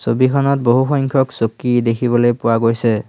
ছবিখনত বহু সংখ্যক চকী দেখিবলে পোৱা গৈছে।